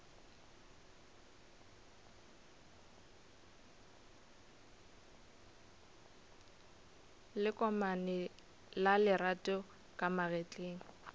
lekomane la lerato ka magetleng